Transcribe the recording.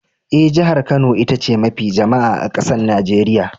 Eh, jihar Kano ita ce mafi jama'a a'kasan Nijeriya.